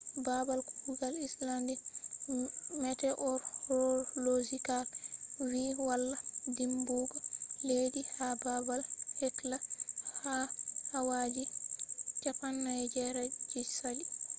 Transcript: babal kugal icelandic meteorological vi walla dimbugo leddi ha babal hekla ha awa ji 48 je sali